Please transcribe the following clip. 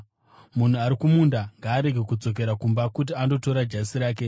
Munhu ari kumunda ngaarege kudzokera kumba kuti andotora jasi rake.